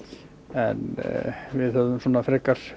en við hefðum frekar